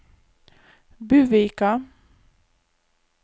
Buvika